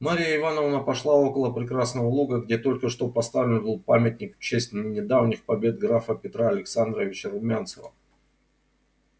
марья ивановна пошла около прекрасного луга где только что поставлен был памятник в честь не недавних побед графа петра александровича румянцева